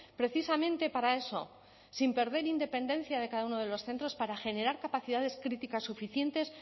precisamente para eso sin perder independencia de cada uno de los centros para generar capacidades críticas suficientes